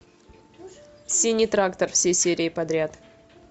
синий трактор все серии подряд